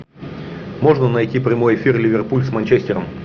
можно найти прямой эфир ливерпуль с манчестером